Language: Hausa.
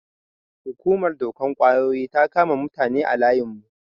Hukumar dokan ƙwayoyi ta kama mutane a layin mu.